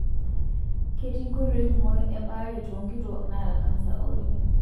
Ketii nkoitoi kumok ebaare too nkituak naata kansa oolki.